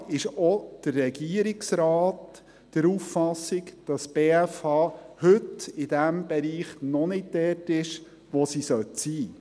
Offenbar ist auch der Regierungsrat der Auffassung, dass die BFH heute in diesem Bereich noch nicht dort ist, wo sie sein sollte.